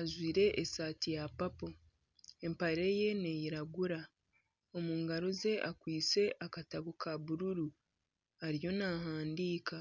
ajwaire esaati ya papo empare ye neyiragura omu ngaro ze akwaitse akatabo ka bururu ariyo nahandiika.